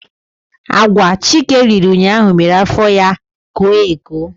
Agwa Chike riri ụnyaahụ mere afọ ya koo eko.